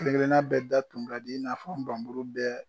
Kelen kelen bɛɛ da tun ka di i n'a fɔ i na fɔ nbamuru bɛɛ.